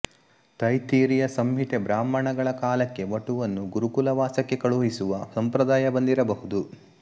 ತೈತ್ತಿರೀಯ ಸಂಹಿತೆ ಬ್ರಾಹ್ಮಣಗಳ ಕಾಲಕ್ಕೆ ವಟುವನ್ನು ಗುರುಕುಲವಾಸಕ್ಕೆ ಕಳುಹಿಸುವ ಸಂಪ್ರದಾಯ ಬಂದಿರಬಹುದು